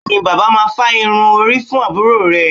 Ṣé bàbá máa fá irun orí fún àbúrò rẹ̀